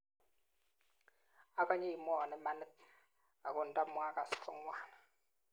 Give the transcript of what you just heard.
akonye imwoiwo imanit ako nda muakas ko ng'wan